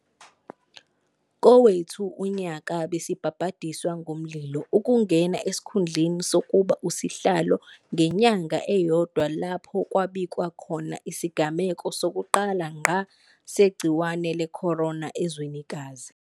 Kowethu unyaka besibhabhadiswa ngomlilo, ukungena esikhundleni sokuba uSihlalo ngenyanga eyodwa lapho kwabikwa khona isigameko sokuqala ngqa segciwane le-corona ezwenikazi.